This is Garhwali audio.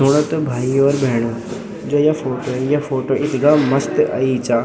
सुना त भाईयों और भेणो जो या फोटो या फोटो इथगा मस्त अई चा।